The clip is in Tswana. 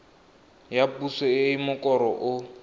ya puso e mokoro o